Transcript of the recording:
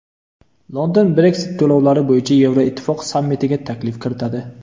London Brexit to‘lovlari bo‘yicha Yevroittifoq sammitiga taklif kiritadi.